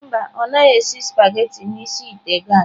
Mba, ọ naghị esi spaghetị n'isi ite gas.